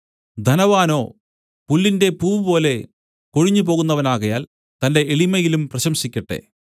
ധനവാനോ പുല്ലിന്റെ പൂവ് പോലെ കൊഴിഞ്ഞു പോകുന്നവനാകയാൽ തന്റെ എളിമയിലും പ്രശംസിക്കട്ടെ